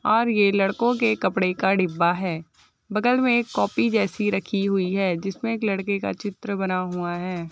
और ये लड़को के कपड़े का डिब्बा है बगल में एक कॉपी जैसी रखी हुई है जिसमे एक लड़के का चित्र बना हुआ है ।